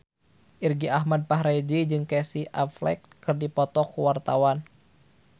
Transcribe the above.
Irgi Ahmad Fahrezi jeung Casey Affleck keur dipoto ku wartawan